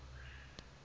ke hore ha eba o